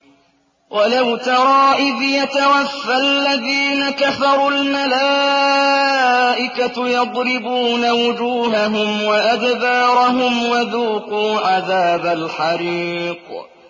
وَلَوْ تَرَىٰ إِذْ يَتَوَفَّى الَّذِينَ كَفَرُوا ۙ الْمَلَائِكَةُ يَضْرِبُونَ وُجُوهَهُمْ وَأَدْبَارَهُمْ وَذُوقُوا عَذَابَ الْحَرِيقِ